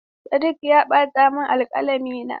Sadiq ya batar min da alkalamina.